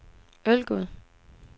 Ølgod